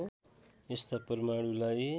यस्ता परमाणुलाई